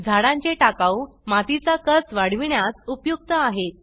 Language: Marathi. झाडां चे टाकाऊ माती चा कस वाढविण्यास उपयुक्त आहेत